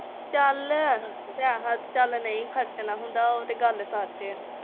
ਚਲ ਪੈਸਾ ਤੇ ਚਲ ਨਹੀਂ ਖਰਚਣਾ ਹੁੰਦਾ ਉਹ ਤੇ ਗੱਲ ਸੱਚ ਆ।